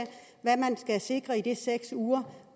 hvad man skal sikre i de seks uger